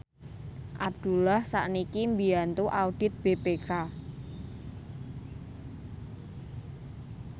Abdullah sakniki mbiyantu audit BPK